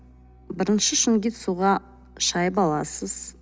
бірінші шунгит суға шайып аласыз